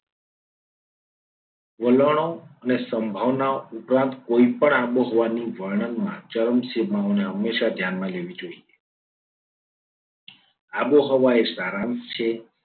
વલણો અને સંભાવનાઓ અથવા કોઈપણ આબોહવાની વર્ણનમાં ચરણ સીમાઓને હંમેશા ધ્યાનમાં લેવી જોઈએ. આબોહવા એ સારાંશ છે.